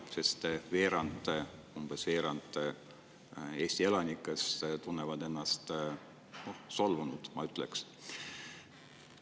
Umbes veerand Eesti elanikest tunnevad solvumist, ma ütleks.